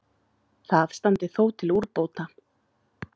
Það standi þó til úrbóta.